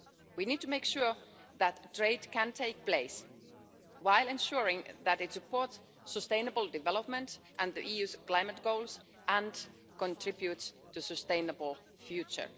We need to make sure that trade can take place, whilst ensuring that it supports sustainable development and the EU's climate goals and contributes to a sustainable future.